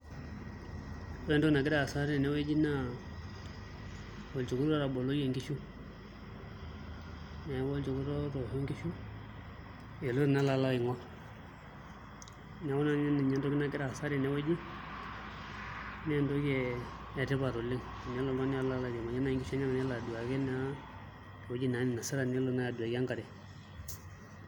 Ore entoki nagira aasa tenewueji naa olchekut otaboloyie nkishu, neeku olchekut otoosho nkishu eloito naa alo aing'orr neeku ina naa entoki nagira aasa tenewueji naa entoki etipat oleng' enelo oltung'ani naai airiamariyie nkishu enyenak nelo aduaki naa ewueji ninasita nelo aduaki enkare.